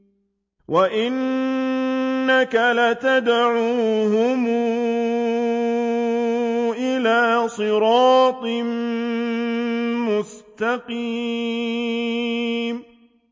وَإِنَّكَ لَتَدْعُوهُمْ إِلَىٰ صِرَاطٍ مُّسْتَقِيمٍ